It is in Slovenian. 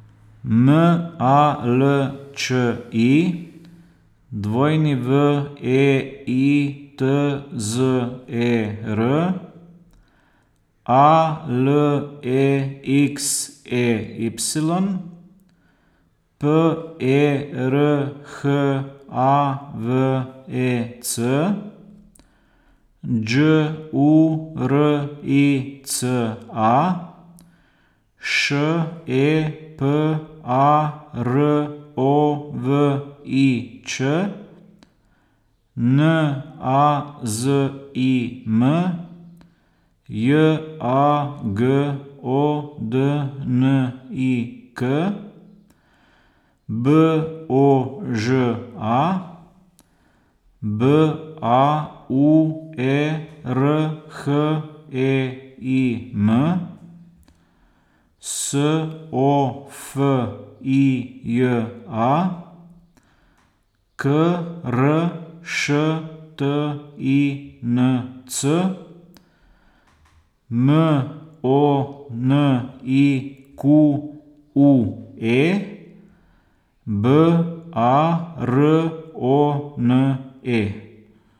M A L Č I, W E I T Z E R; A L E X E Y, P E R H A V E C; Đ U R I C A, Š E P A R O V I Ć; N A Z I M, J A G O D N I K; B O Ž A, B A U E R H E I M; S O F I J A, K R Š T I N C; M O N I Q U E, B A R O N E.